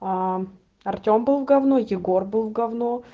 аа артем был в говно егор был в говно